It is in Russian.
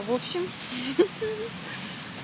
в общем хи-хи